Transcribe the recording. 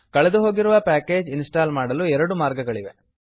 ಕಳೆದುಹೋಗಿರುವ ಪ್ಯಾಕೇಜನ್ನು ಇನ್ಸ್ಟಾಲ್ ಮಾಡಲು ಎರಡು ಮಾರ್ಗಗಳಿವೆ